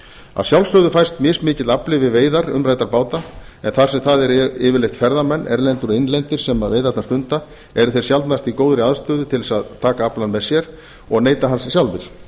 að sjálfsögðu fæst mismikill afli við veiðar umræddra báta en þar sem það eru yfirleitt ferðamenn innlendir og erlendir sem veiðarnar stunda eru þeir sjaldnast í góðri aðstöðu til að taka aflann með sér og neyta hans sjálfir